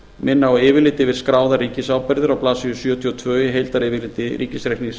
minna á yfirlit yfir skráðar ríkisábyrgðir á blaðsíðu sjötíu og tvö í heildaryfirliti ríkisreiknings